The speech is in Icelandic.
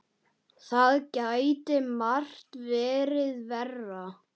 Það gæti margt verið verra.